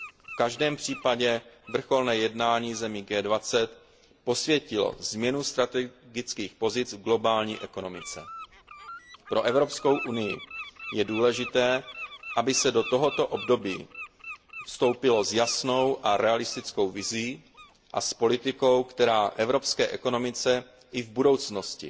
V každém případě vrcholné jednání zemí G20 posvětilo změnu strategických pozic v globální ekonomice. Pro EU je důležité, aby do tohoto období vstoupila s jasnou a realistickou vizí a s politikou, která evropské ekonomice i v budoucnosti